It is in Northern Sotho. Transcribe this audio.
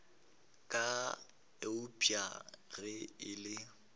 ka eupša ge e le